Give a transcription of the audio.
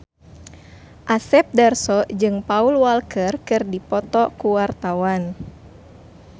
Asep Darso jeung Paul Walker keur dipoto ku wartawan